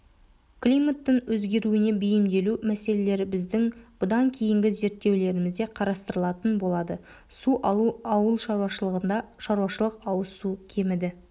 климаттың өзгеруіне бейімделу мәселелері біздің бұдан кейінгі зерттеулерімізде қарастырылатын болады су алу ауылшаруашылығында шаруашылық ауызсу кеміді